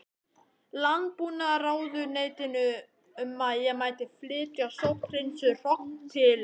Landbúnaðarráðuneytinu um að ég mætti flytja sótthreinsuð hrogn til